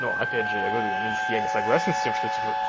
но опять же говорю я не я не согласен с тем что типо